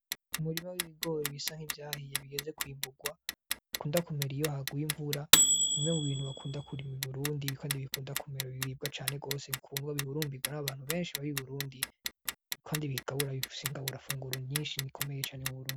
Umurima w'ibigore ibisa nk'ivyahiye bigeze kwimburwa, bikunda kumera iyo haguye imvura, ni bimwe mubintu bakunda kurima iburundi kandi bikunda kumera biribwa cane gose, bikundwa, bihurumbirwa n'abantu benshi baba iburundi, kandi bigabura, bifise ingaburo funguro nyinshi bikomeye cane iburundi.